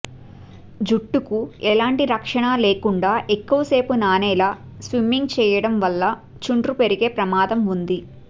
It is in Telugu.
జుట్టుకు ఎలాంటి రక్షణా లేకుండా ఎక్కువ సేపు నానేలా స్విమ్మింగ్ చేయడం వల్ల చుండ్రు పెరిగే ప్రమాదం ఉంది